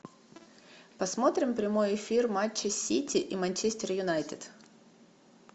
посмотрим прямой эфир матча сити и манчестер юнайтед